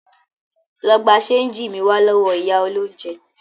Lọ gba ṣénjì mi wá lọ́wọ́ ìyá olóúnjẹ!